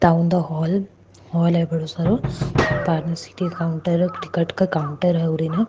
town hall hall है बड़ो सरो काउंटर --